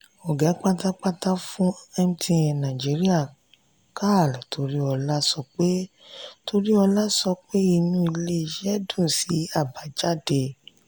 oga pátápátá fún mtn naijiriya karl toriola sọ pé toriola sọ pé inú ilé-isé dùn sí àbájáde.